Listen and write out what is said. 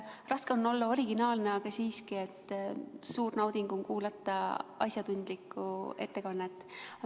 Raske on olla originaalne, aga siiski, suur nauding on kuulata asjatundlikku ettekannet.